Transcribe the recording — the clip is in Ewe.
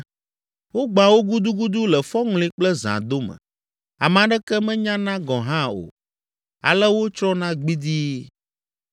Wogbãa wo gudugudu le fɔŋli kple zã dome, ame aɖeke menyana gɔ̃ hã o, ale wotsrɔ̃na gbidii.